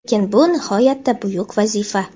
lekin bu nihoyatda buyuk vazifa.